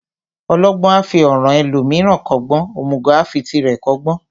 Ọlọgbọ́n a fi ọ̀ràn ẹlòmíràn kọ́gbọ́n, òmùgọ̀ a fi tirẹ̀ kọ́gbọ́n.